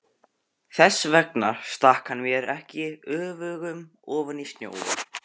Þess vegna stakk hann mér ekki öfugum ofan í snjóinn.